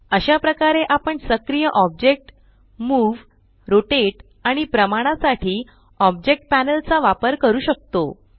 अशा प्रकारे आपण सक्रिय ऑब्जेक्ट मूव रोटेट आणि प्रमाणा साठी ऑब्जेक्ट पॅनल चा वापर करू शकतो